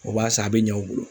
O b'a san, a bɛ ɲɛ u bolo.